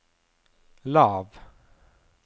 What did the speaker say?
lav